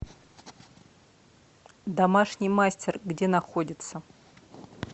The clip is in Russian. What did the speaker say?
домашний мастер где находится